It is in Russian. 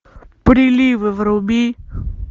приливы вруби